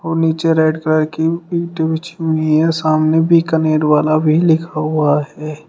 नीचे red colour की ईंटे बिछी हुई हैं सामने बीकानेरवाला भी लिखा हुआ है।